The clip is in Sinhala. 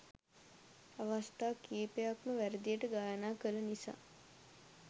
අවස්ථා කීපයක්ම වැරදියට ගායනා කළ නිසා